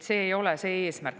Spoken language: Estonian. See ei ole eesmärk.